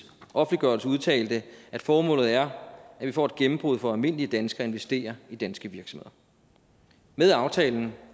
offentliggørelse udtalte at formålet er at vi får et gennembrud for almindelige danskere investere i danske virksomheder med aftalen